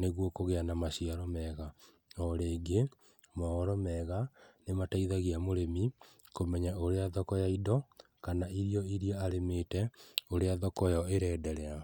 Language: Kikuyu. nĩguo kũgĩa na maciaro mega. O rĩngĩ, mohoro mega nĩ mateithagia mũrĩmi kũmenya ũrĩa thoko ya indo, kana irio iria arĩmĩte ũrĩa thoko ĩyo ĩraenderea.